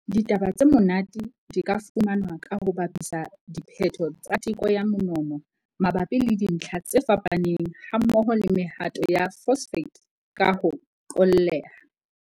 Ditaba tse monate di ka fumanwa ka ho bapisa diphetho tsa teko ya monono mabapi le dintlha tse fapaneng hammoho le mehato ya phosphate ka ho qolleha.